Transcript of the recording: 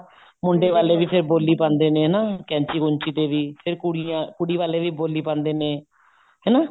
ਮੁੰਡੇ ਵਾਲੇ ਵੀ ਫੇਰ ਬੋਲੀ ਪਾਂਦੇ ਨੇ ਹਨਾ ਕੈਂਚੀ ਕੁੰਚੀ ਤੇ ਵੀ ਫੇਰ ਫੇਰ ਕੁੜੀਆਂ ਕੁੜੀ ਵਾਲੇ ਵੀ ਬੋਲੀ ਪਾਉਂਦੇ ਨੇ ਹਨਾ